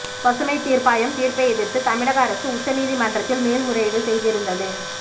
பசுமை தீர்ப்பாயம் தீர்ப்பை எதிர்த்து தமிழக அரசு உச்சநீதிமன்றத்தில் மேல்முறையீடு செய்திருந்தது